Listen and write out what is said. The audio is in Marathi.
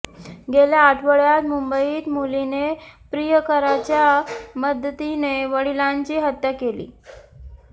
गेल्या आठवडय़ात मुंबईत मुलीने प्रियकराच्या मदतीने वडिलांची हत्या केली